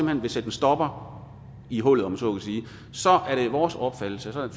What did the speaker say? hen vil sætte en stopper i hullet om man så må sige så er det vores opfattelse så er